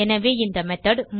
எனவே இந்த மெத்தோட்